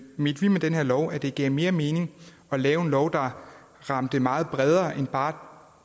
mente vi med den her lov at det gav mere mening at lave en lov der ramte meget bredere end bare